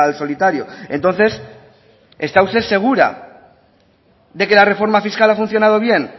solitario entonces está usted segura de que la reforma fiscal ha funcionado bien